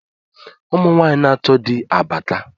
Ụmụnwanyị na-achọ di abaka